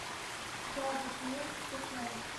запись мед шестнадцать